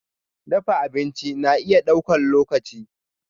Dafa abinci na iya ɗaukar lokaci.